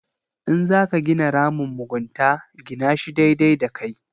In za ka gina ramin mugunta gina shi daidai da kai.